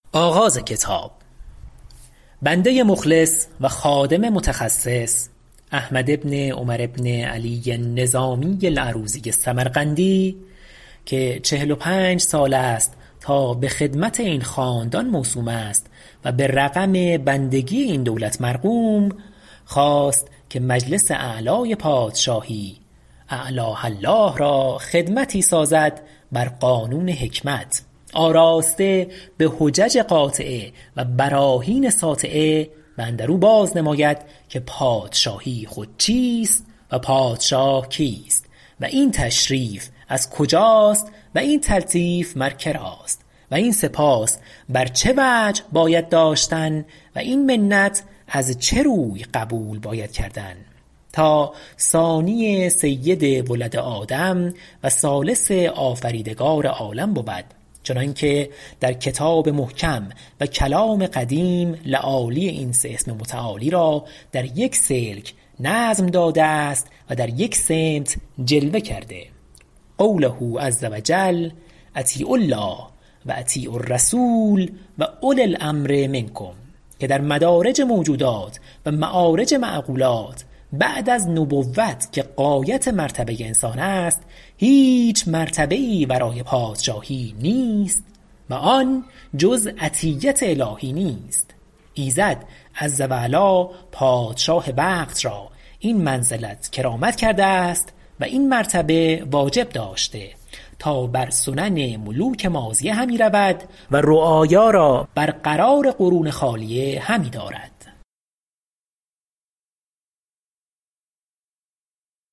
بنده مخلص و خادم متخصص احمد بن عمر بن علی النظامی العروضی السمرقندی که چهل و پنج سال است تا به خدمت این خاندان موسوم است و به رقم بندگی این دولت مرقوم خواست که به مجلس اعلی پادشاهی اعلاه الله را خدمتی سازد بر قانون حکمت آراسته به حجج قاطعه و براهین ساطعه و اندرو باز نماید که پادشاهی خود چیست و پادشاه کیست و این تشریف از کجاست و این تلطیف مر کراست و این سپاس بر چه وجه باید داشتن و این منت از چه روی قبول باید کردن تا ثانی سید ولد آدم و ثالث آفریدگار عالم بود چنانکه در کتاب محکم و کلام قدیم لآلی این سه اسم متعالی را در یک سلک نظم داده است و در یک سمط جلوه کرده قوله عز و جل اطیعوا الله و اطیعوا الرسول و اولی الامر منکم که در مدارج موجودات و معارج معقولات بعد از نبوت که غایت مرتبه انسان است هیچ مرتبه ای ورای پادشاهی نیست و آن جز عطیت الهی نیست ایزد عز و علا پادشاه وقت را این منزلت کرامت کرده است و این مرتبه واجب داشته تا بر سنن ملوک ماضیه همی رود و رعایا را برقرار قرون خالیه همی دارد